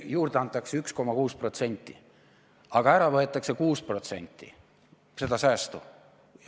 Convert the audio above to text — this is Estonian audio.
Juurde antakse 1,6%, aga ära võetakse 6% seda säästu.